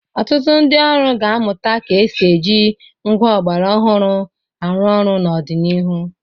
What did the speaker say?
Ọtụtụ ndị ọrụ ga-amụta ga-esi ji ngwá ọgbara ọhụrụ arụ ọrụ n'ọdịnihu.